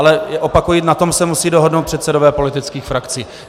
Ale opakuji, na tom se musí dohodnout předsedové politických frakcí.